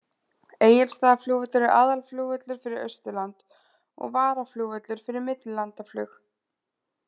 Egilsstaðaflugvöllur er aðalflugvöllur fyrir Austurland og varaflugvöllur fyrir millilandaflug.